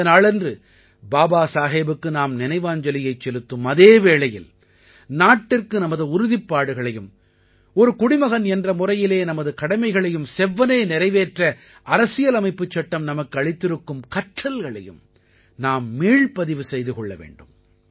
இந்த நாளன்று பாபாசாஹேபுக்கு நாம் நினைவாஞ்சலியைச் செலுத்தும் அதே வேளையில் நாட்டிற்கு நமது உறுதிப்பாடுகளையும் ஒரு குடிமகன் என்ற முறையிலே நமது கடமைகளையும் செவ்வனே நிறைவேற்ற அரசியலமைப்புச் சட்டம் நமக்கு அளித்திருக்கும் கற்றல்களையும் நாம் மீள்பதிவு செய்து கொள்ள வேண்டும்